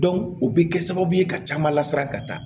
o bɛ kɛ sababu ye ka caman lasiran ka taa